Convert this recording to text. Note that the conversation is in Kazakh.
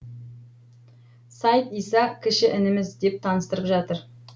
сайд иса кіші ініміз деп таныстырып жатыр